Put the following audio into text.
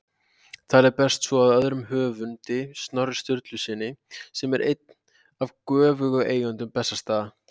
Talið berst svo að öðrum höfundi, Snorra Sturlusyni, sem er einn af göfugum eigendum Bessastaða.